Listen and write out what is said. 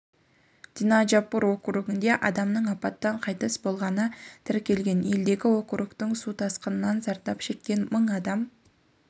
динаджпур округінде адамның апаттан қайтыс болғаны тіркелген елдегі округтің су тасқынынан зердап шеккен мың адам